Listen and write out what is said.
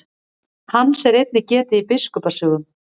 Hans er einnig getið í biskupa sögum.